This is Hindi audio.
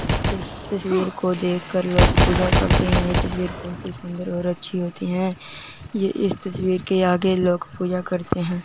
इस तस्वीर को देखकर लोग पूजा करते हैं ये तस्वीर बहुत ही सुंदर और अच्छी होती है ये इस तस्वीर के आगे लोग़ पूजा करते हैं।